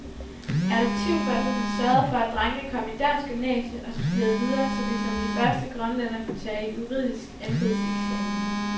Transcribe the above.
Adoptivforældrene sørgede for, at drengene kom i dansk gymnasium og studerede videre, så de som de første grønlændere kunne tage juridisk embedseksamen.